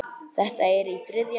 Þetta er í þriðja sinn.